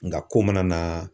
Nka ko mana na